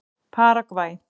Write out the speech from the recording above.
Paragvæ